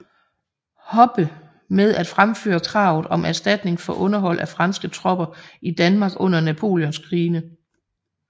Hoppe med at fremføre kravet om erstatning for underhold af franske tropper i Danmark under Napoleonskrigene